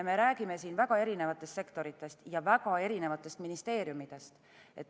Me räägime väga erinevatest sektoritest ja väga erinevatest ministeeriumidest.